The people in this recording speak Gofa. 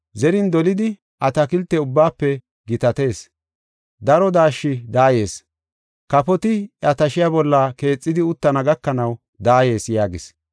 Zerin dolidi atakilte ubbaafe gitatees; daro daashshi daayees. Kafoti iya tashiya bolla keexidi uttana gakanaw daayees” yaagis.